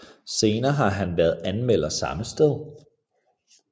Senere har han været anmelder samme sted